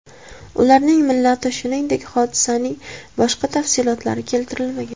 Ularning millati, shuningdek, hodisaning boshqa tafsilotlari keltirilmagan.